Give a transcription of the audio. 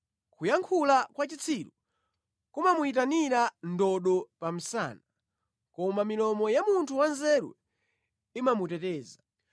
Kuyankhula kwa chitsiru kumamuyitanira ndodo pa msana, koma milomo ya munthu wanzeru imamuteteza.